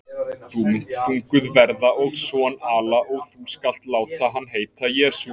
Þú munt þunguð verða og son ala, og þú skalt láta hann heita JESÚ.